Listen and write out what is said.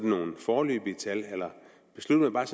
nogle foreløbige tal eller besluttede man